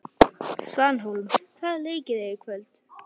Svanhólm, hvaða leikir eru í kvöld?